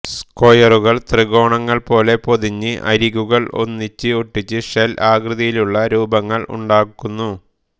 സ്ക്വയറുകൾ ത്രികോണങ്ങൾ പോലെ പൊതിഞ്ഞ് അരികുകൾ ഒന്നിച്ച് ഒട്ടിച്ച് ഷെൽ ആകൃതിയിലുള്ള രൂപങ്ങൾ ഉണ്ടാക്കുന്നു